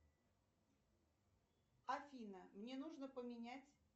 афина мне нужно поменять